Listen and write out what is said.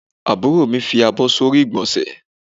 Àbúrò mi fi àbọ̀ sórí igbonse